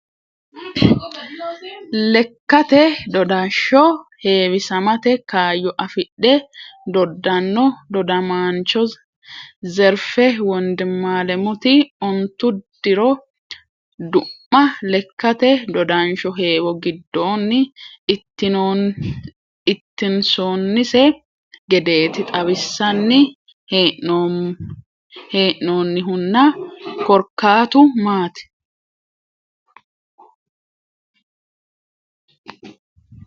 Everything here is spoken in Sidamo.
Lekkate dodasho heewisamate kaayyo afidhe dodano dodamancho Zerife wondimalemuti ontu diro du'ma lekkate dodansho heewo giddoni ittinsonise gedeti xawinsanni hee'nonnihunna korkaatu maati ?